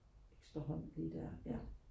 ekstra hånd lige der ja